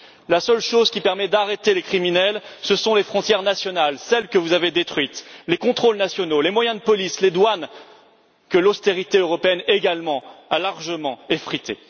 La seule chose qui permet d'arrêter les criminels, ce sont les frontières nationales, celles que vous avez détruites, les contrôles nationaux, les moyens de police, les douanes, que l'austérité européenne également a largement effrités.